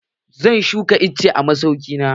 Zan shuka icce a masauki na.